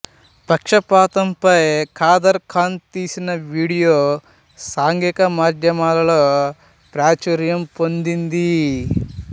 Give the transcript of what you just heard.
పక్షపాతం పై కాదర్ ఖాన్ తీసిన వీడియో సాంఘిక మాధ్యమాలలో ప్రాచుర్యం పొందింది